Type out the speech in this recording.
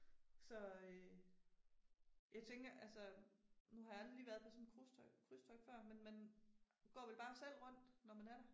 Så øh. Jeg tænker altså nu har jeg aldrig lige været på sådan et cruisetogt krydstogt før men man går vel bare selv rundt, når man er